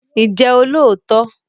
Ǹjẹ́ o lóòótọ́?